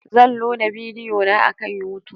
Zan loda bidiyo na akan YouTube.